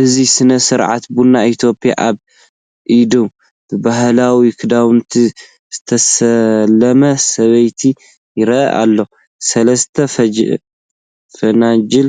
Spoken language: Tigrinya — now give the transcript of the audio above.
እዚ ስነ-ስርዓት ቡን ኢትዮጵያ ኣብ ኢድ ብባህላዊ ክዳውንቲ ዝተሰለመ ሰበይቲ ይረአ ኣሎ። ሰለስተ ፈናጅል